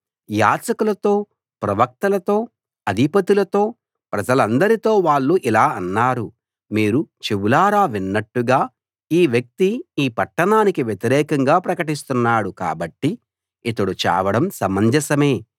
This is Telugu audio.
యాజకులతో ప్రవక్తలతో అధిపతులతో ప్రజలందరితో వాళ్ళు ఇలా అన్నారు మీరు చెవులారా విన్నట్టుగా ఈ వ్యక్తి ఈ పట్టణానికి వ్యతిరేకంగా ప్రకటిస్తున్నాడు కాబట్టి ఇతడు చావడం సమంజసమే